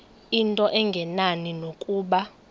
into engenani nokuba